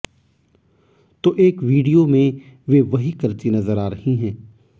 तो एक वीडियो में वे वही करती नजर आ रही हैं